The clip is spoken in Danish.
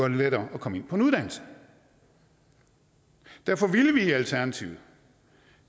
det lettere at komme ind på en uddannelse derfor ville vi i alternativet